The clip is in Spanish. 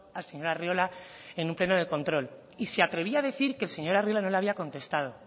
al señor arriola en un pleno de control y se atrevía a decir que el señor arriola no le había contestado